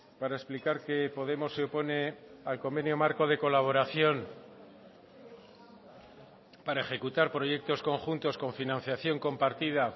para explicar que podemos se opone al convenio marco de colaboración para ejecutar proyectos conjuntos con financiación compartida